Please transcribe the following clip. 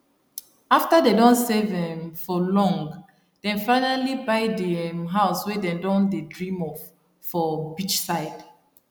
after dem don save um for long dem finally buy di um house wey dem don dey dream of for beachside